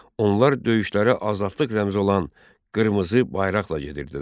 Onlar döyüşlərə azadlıq rəmzi olan qırmızı bayraqla gedirdilər.